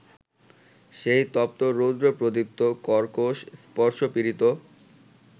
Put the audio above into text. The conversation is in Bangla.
সেই তপ্ত রৌদ্রপ্রদীপ্ত কর্কশ স্পর্শপীড়িত